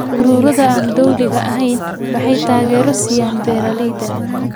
Ururada aan dowliga ahayn waxay taageero siiyaan beeralayda.